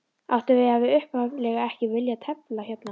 Áttu við að ég hafi upphaflega ekki viljað tefla hérna?